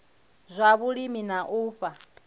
zwa vhulimi na u fha